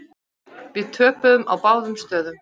Við töpuðum á báðum stöðum.